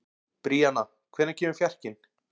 Bríanna, hvenær kemur fjarkinn?